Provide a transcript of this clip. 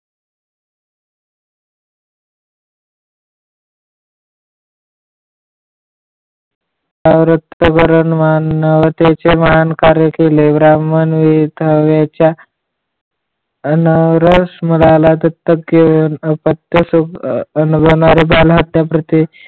औरतचं मरण मानणारे त्यांचे महान कार्य केले ब्राह्मण हे थव्याच्या अनावरास मुलाला दत्तक घेऊन अपत्य आणि भ्रूण बालहत्या प्रति